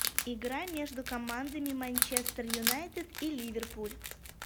игра между командами манчестер юнайтед и ливерпуль